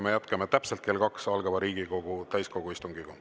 Me jätkame täpselt kell kaks algava Riigikogu täiskogu istungiga.